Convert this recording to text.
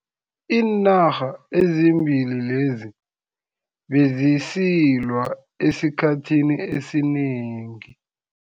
Iinarha ezimbili lezi bezisilwa esikhathini esinengi.